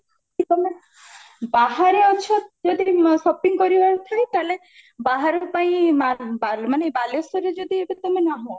ତମେ ବାହାରେ ଅଛ ଯଦି shopping କରିବାର ଥାଏ ତାହେଲେ ବାହାର ପାଇଁ ମାନେ ବାଲେଶ୍ଵରରେ ଯଦି ଏବେ ତମେ ନାହଁ